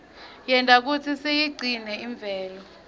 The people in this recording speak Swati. yenta kutsi siyigcine imvelo